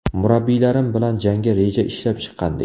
Murabbiylarim bilan jangga reja ishlab chiqqandik.